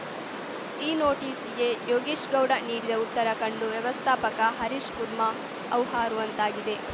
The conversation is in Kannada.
ಈ ನೋಟಿಸ್‌ಗೆ ಯೋಗೇಶ್‌ಗೌಡ ನೀಡಿದ ಉತ್ತರ ಕಂಡು ವ್ಯವಸ್ಥಾಪಕ ಹರೀಶ್‌ಕುರ್ಮಾ ಹೌಹಾರುವಂತಾಗಿದೆ